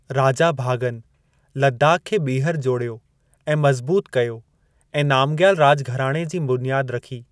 राजा भागन लद्दाख खे ॿीहर जोड़ियो ऐं मज़बूत कयो ऐं नामग्याल राॼ घराणे जी बुनियाद रखी।